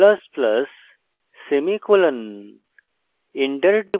dollar i plus plus semicolon